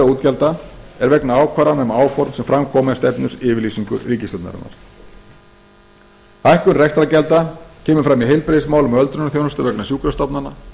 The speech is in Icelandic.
útgjalda er vegna ákvarðana um áform sem fram komu í stefnuyfirlýsingu ríkisstjórnarinnar hækkun rekstrargjalda kemur fram í heilbrigðismálum og öldrunarþjónustu vegna sjúkrastofnana